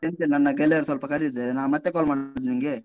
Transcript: ಎಂತ ಇಲ್ಲ. ನನ್ನ ಗೆಳೆಯರು ಸ್ವಲ್ಪ ಕರೀತಾ ಇದ್ದರೆ. ನಾ ಮತ್ತೆ call ಮಾಡುದಾ ನಿಂಗೆ?